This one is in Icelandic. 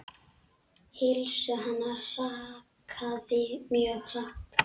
Heilsu hennar hrakaði mjög hratt.